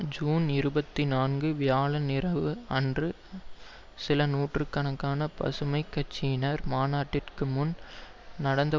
June இருபத்தி நான்கு வியாழன் இரவு அன்று சில நூற்று கணக்கான பசுமை கட்சியினர் மாநாட்டிற்கு முன் நடந்த